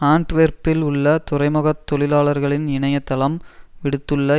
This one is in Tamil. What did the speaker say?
ஆன்ட்வெர்ப்பில் உள்ள துறைமுகத் தொழிலாளர்களின் இனையத் தளம் விடுத்துள்ள